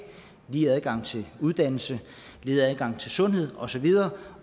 lige adgang til uddannelse lige adgang til sundhed og så videre